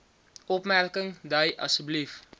opmerking dui asb